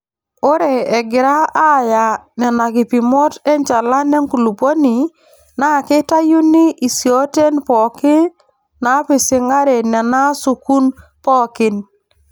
Ore egira Aaya nenakipimot enchalan enkulupuoni naa keitayuni isiooten pooki naapising'are Nena asukun pookin.